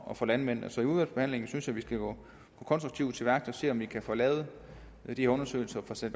og for landmændene så i udvalgsbehandlingen synes jeg vi skal gå konstruktivt til værks og se om vi kan få lavet de undersøgelser sat